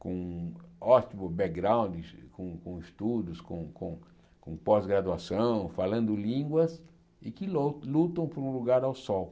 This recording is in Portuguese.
com ótimo background, com com estudos, com com com pós-graduação, falando línguas, e que lo lutam por um lugar ao sol.